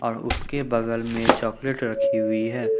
उसके बगल में चॉकलेट रखी हुई है।